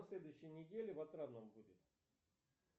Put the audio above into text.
на следующей неделе в отрадном будет